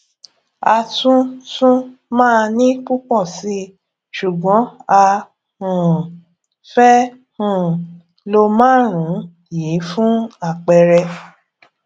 a tún tún màa ní pùpò síi ṣùgbón a um fé um lo márùnún yìí fún àpẹẹrẹ